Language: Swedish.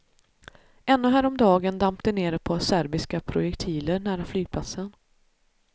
Ännu häromdagen damp det ner ett par serbiska projektiler nära flygplatsen.